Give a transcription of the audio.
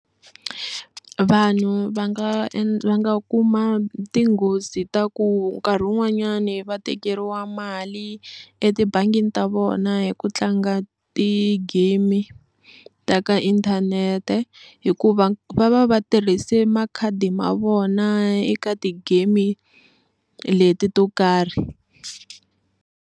Vanhu va nga va nga kuma tinghozi ta ku nkarhi wun'wanyani va tekeriwa mali etibangini ta vona hi ku tlanga ti-game ta ka inthanete hikuva va va va tirhise makhadi ma vona eka ti-game leti to karhi.